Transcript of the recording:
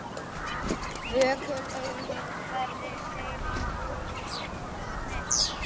Vökul augu á hverri hreyfingu í stofunni.